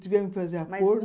Tivemos que fazer acordo.